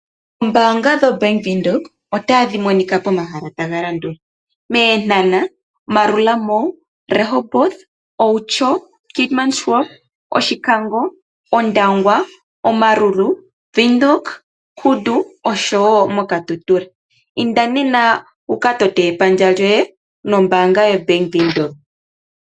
Oombaanga dhoBank Windhoek otadhi monika pomahala taga landula. MEnhana, Marua mall, Rehoboth, Outjo, Keetmanshoop, Oshikango, Ondangwa, Omaruru, Windhoek Kudu osho wo moKatutura. Inda nena wuka tote epandja lyoye nombaanga yoBank Windhoek.